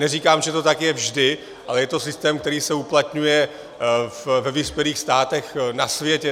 Neříkám, že to tak je vždy, ale je to systém, který se uplatňuje ve vyspělých státech na světě.